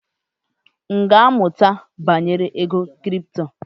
M ga-amụta banyere ego kripto.